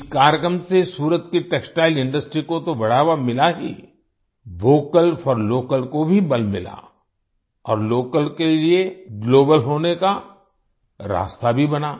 इस कार्यक्रम से सूरत की टेक्सटाइल इंडस्ट्री को तो बढ़ावा मिला ही vocal for local vocal for local को भी बल मिला और लोकल के लिए ग्लोबल होने का रास्ता भी बना